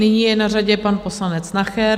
Nyní je na řadě pan poslanec Nacher.